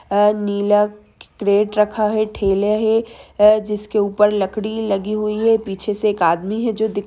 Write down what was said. नीला crate रखा हुआ ठेला हैं जिसके ऊपर लकड़ी लगी हुई हैं पीछे से एक आदमी है जो दिख --